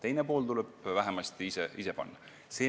Teine pool tuleb endal panna.